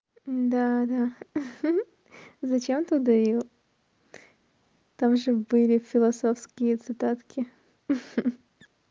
да да ха-ха зачем ты удалил там же были философские цитатки ха-ха